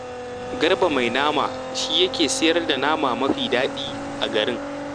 Garba mai nama shi ne yake sayar da nama mafi daɗi a garin